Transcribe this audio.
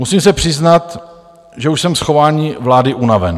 Musím se přiznat, že už jsem z chování vlády unaven.